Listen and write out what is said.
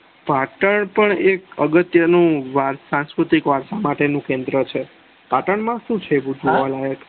પાટણ પણ એક અગત્ય નું વારસા સાંસ્કૃતિક વારસા માટેનું કેન્દ્ર છે પાટણ માં સુ છે જોવાલાયક